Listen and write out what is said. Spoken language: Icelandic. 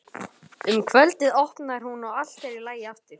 Um kvöldið opnar hún og allt er í lagi aftur.